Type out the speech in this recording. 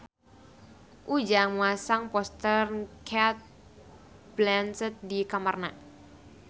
Ujang masang poster Cate Blanchett di kamarna